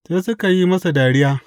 Sai suka yi masa dariya.